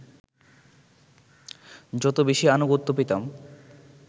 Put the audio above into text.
যত বেশি আনুগত্য পেতাম